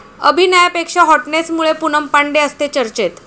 अभिनयापेक्षा हॉटनेसमुळे पूनम पांडे असते चर्चेत